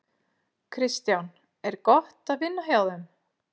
Kristján: Er gott að vinna hjá þeim?